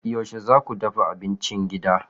Yaushe za ku dafa abincin gida?